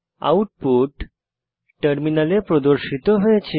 output টার্মিনালে প্রদর্শিত হয়েছে